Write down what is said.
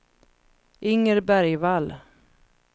Inger Bergvall